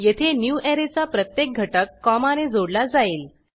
येथे न्यूवरे चा प्रत्येक घटक कॉमाने जोडला जाईल